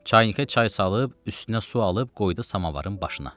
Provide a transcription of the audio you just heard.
Çaynikə çay salıb üstünə su alıb qoydu samavarın başına.